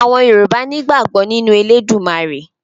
Àwọn Yorùbá nígbàgbọ́ nínú Elédùmarè